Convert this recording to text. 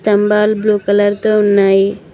స్థంబాల్ blue colour తో ఉన్నాయి